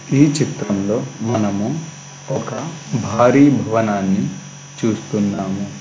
ఈ చిత్రంలో మనము ఒక భారీ భవనాన్ని చూస్తున్నాము.